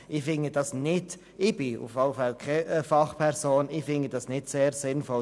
Ich bin jedenfalls keine Fachperson und finde dies nicht sehr sinnvoll.